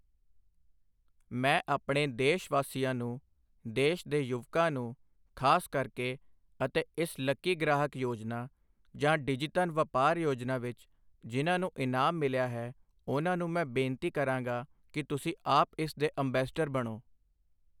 ਮੈਂ ਆਪਣੇ ਦੇਸ਼ ਵਾਸੀਆਂ ਨੂੰ, ਦੇਸ਼ ਦੇ ਯੁਵਕਾਂ ਨੂੰ, ਖ਼ਾਸ ਕਰਕੇ ਅਤੇ ਇਸ ਲੱਕੀ ਗ੍ਰਾਹਕ ਯੋਜਨਾ ਜਾਂ ਡਿਜੀਧਨ ਵਪਾਰ ਯੋਜਨਾ ਵਿੱਚ ਜਿਨ੍ਹਾਂ ਨੂੰ ਇਨਾਮ ਮਿਲਿਆ ਹੈ, ਉਨ੍ਹਾਂ ਨੂੰ ਮੈਂ ਬੇਨਤੀ ਕਰਾਂਗਾ ਕਿ ਤੁਸੀਂ ਆਪ ਇਸ ਦੇ ਅੰਬੈਸਡਰ ਬਣੋ।